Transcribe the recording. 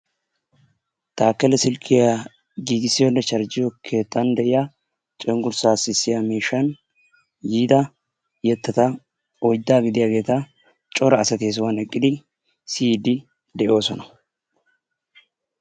Taakele silkkiya giigissiyoonne charjjiyo keettan de'iya cengursaa sissiya miishshan yiida yettata oydaa giddiyaageeta cora asati he sohuwan eqqidi siyiidi de'oosona.